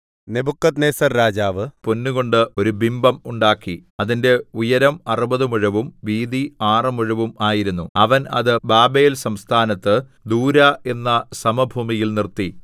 Nebuchadnezzar രാജാവ് പൊന്നുകൊണ്ട് ഒരു ബിംബം ഉണ്ടാക്കി അതിന്റെ ഉയരം അറുപതു മുഴവും വീതി ആറ് മുഴവും ആയിരുന്നു അവൻ അത് ബാബേൽസംസ്ഥാനത്ത് ദൂരാ എന്ന സമഭൂമിയിൽ നിർത്തി